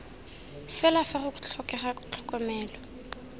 fela fa go tlhokega tlhokomelo